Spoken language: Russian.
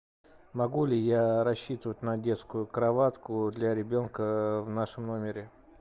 могу ли я рассчитывать на детскую кроватку для ребенка в нашем номере